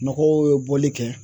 Mɔgɔw ye bɔli kɛ